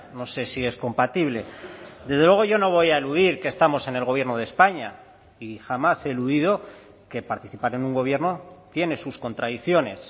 no sé si es compatible desde luego yo no voy a eludir que estamos en el gobierno de españa y jamás he eludido que participar en un gobierno tiene sus contradicciones